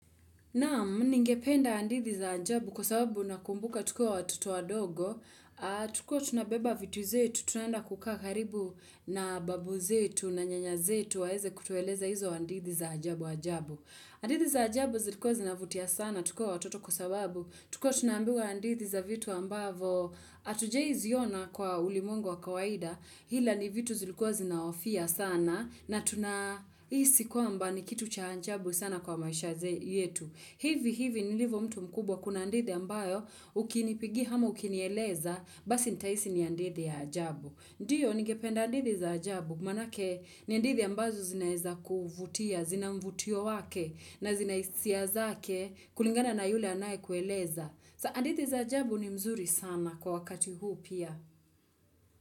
Naam ningependa andithi za ajabu kwa sababu na kumbuka tukua watoto wa dogo, tukua tunabeba vitu zetu, tunaenda kukaa karibu na babu zetu na nyanya zetu waeze kutueleza hizo andithi za ajabu ajabu. Andithi za ajabu zilikuwa zinavutia sana tukua watoto kwa sababu, tukua tunambiwa andithi za vitu ambavo atujai ziona kwa ulimwengu wa kawaida, hila ni vitu zilikuwa zinaofia sana na tunaisi kwa mba ni kitu cha ajabu sana kwa maisha zetu. Hivi hivi nilivo mtu mkubwa kuna ndithi ambayo ukinipigi hama ukinieleza basi nitaisi ni ndithi ya ajabu. Ndiyo nigependa andithi za ajabu manake ni andithi ambazo zinaeza kuvutia, zina mvutio wake na zinaisia zake kulingana na yule anaye kueleza. Sa andithi za ajabu ni mzuri sana kwa wakati huu pia.